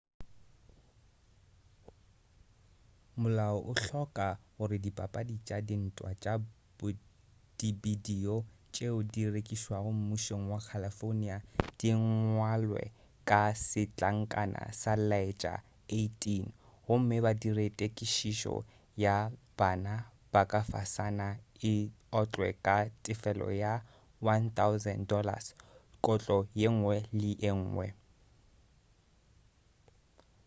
molao o hloka gore dipapadi tša dintwa tša dibidio tšeo di rekišwago mmušong wa california di ngwalwe ka setlankana sa laetša 18 gomme ba dire tekišetšo ya bana ba ka fasana e otlwe ka tefelo ya $1000 kotlo yengwe le yengwe